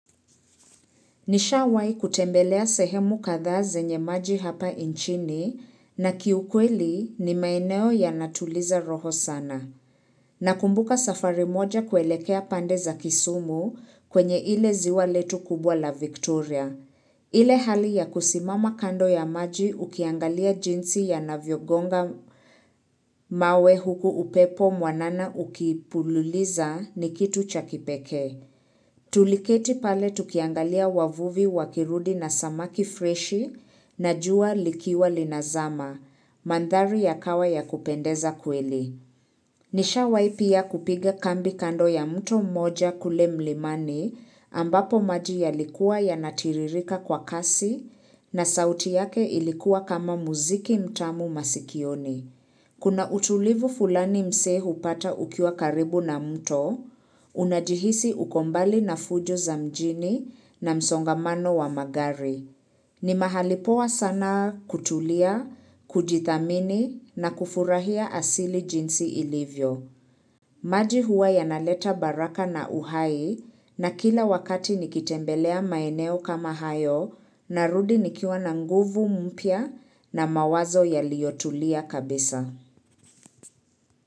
Nishawahi kutembelea sehemu kadhaa zenye maji hapa nchini na kiukweli ni maeneo yanatuliza roho sana. Nakumbuka safari moja kuelekea pande za kisumu kwenye ile ziwa letu kubwa la Victoria. Ile hali ya kusimama kando ya maji ukiangalia jinsi yanavyogonga mawe huku upepo mwanana ukipululiza ni kitu cha kipekee. Tuliketi pale tukiangalia wavuvi wakirudi na samaki freshi na jua likiwa linazama, mandhari ya kawa ya kupendeza kweli. Nishawahi pia kupiga kambi kando ya mto mmoja kule mlimani ambapo maji yalikuwa ya natiririka kwa kasi na sauti yake ilikuwa kama muziki mtamu masikioni. Kuna utulivu fulani msee hupata ukiwa karibu na mto, unajihisi uko mbali na fujo za mjini na msongamano wa magari. Ni mahali poa sana kutulia, kujidhamini na kufurahia asili jinsi ilivyo. Maji huwa yanaleta baraka na uhai na kila wakati nikitembelea maeneo kama hayo narudi nikiwa na nguvu mpya na mawazo yaliyotulia kabisa.